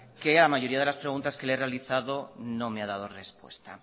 que a la mayoría de las preguntas que le ha realizado no me ha dado respuesta